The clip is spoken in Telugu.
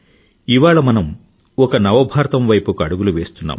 ఇవాళ మనం ఒక నవ భారతం వైపుకి అడుగులు వేస్తున్నాం